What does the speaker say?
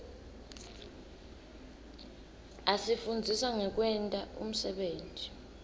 asifundzisa ngekwenta umsebenti